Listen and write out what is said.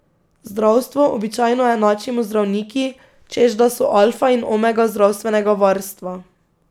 Zdravstvo običajno enačimo z zdravniki, češ da so alfa in omega zdravstvenega varstva.